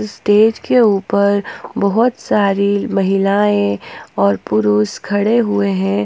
Stage के ऊपर बहोत सारी महिलाएं और पुरुष खड़े हुए हैं।